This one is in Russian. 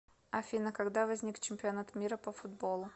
афина когда возник чемпионат мира по футболу